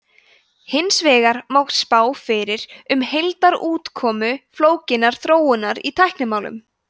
hins vegar má spá fyrir um heildarútkomu flókinnar þróunar í tæknimálum